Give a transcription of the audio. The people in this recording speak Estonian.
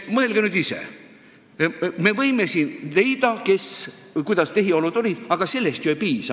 Mõelge nüüd ise: me võime siin teada saada, kuidas tehiolud olid, aga sellest ei piisa.